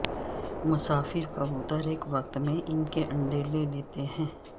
مسافر کبوتر ایک وقت میں ان کے انڈے لے لیتے ہیں